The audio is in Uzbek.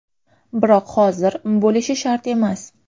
Biroq hozir bo‘lishi shart emas.